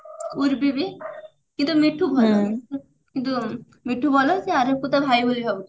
ଉର୍ବୀ ବି କିନ୍ତୁ ମିଠୁ ଭଲ କିନ୍ତୁ ମିଠୁ ଭଲ ସେ ଆରବକୁ ତା ଭାଇ ବୋଲି ଭାବୁଛି